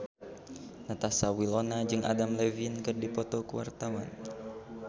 Natasha Wilona jeung Adam Levine keur dipoto ku wartawan